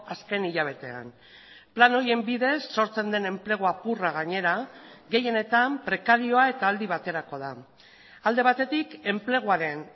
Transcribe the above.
azken hilabetean plan horien bidez sortzen den enplegu apurra gainera gehienetan prekarioa eta aldi baterako da alde batetik enpleguaren